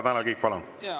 Tanel Kiik, palun!